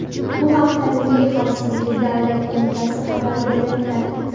Bu haqda Milliy xavfsizlik davlat qo‘mitasi xabar bermoqda.